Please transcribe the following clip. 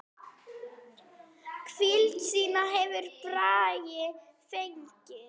Hvíld sína hefur Bragi fengið.